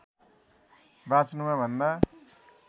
बाँच्नुमा भन्दा